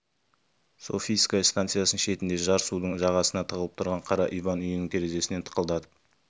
софийская станицасының шетінде жар судың жағасына тығылып тұрған қара иван үйінің терезесін тықылдатқан